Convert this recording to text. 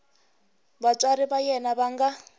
vatswari va yena va nga